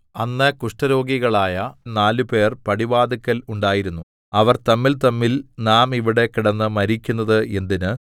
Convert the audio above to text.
അന്ന് കുഷ്ഠരോഗികളായ നാല് പേർ പടിവാതില്ക്കൽ ഉണ്ടായിരുന്നു അവർ തമ്മിൽതമ്മിൽ നാം ഇവിടെ കിടന്ന് മരിക്കുന്നത് എന്തിന്